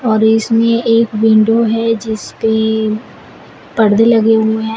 और इसमें एक विंडो है जिसपे परदे लगे हुए हैं।